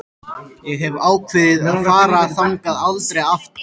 Ég hef ákveðið að fara þangað aldrei aftur.